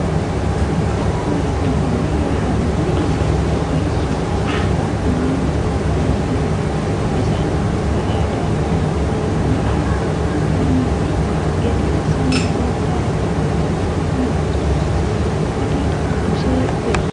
Kutaa magaala finfinnee gara daandii Inxooxxoo geessu gubbaa manneen uffataa hedduutu jiru. Isaanis uffata aadaa kan naannolee hedduu kan qabanii fi gatiin isaanii illee madaalawaadha. Bakka kana gosoota uffataatu uwwisee jira.